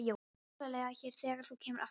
Ég verð allavega hér þegar þú kemur aftur.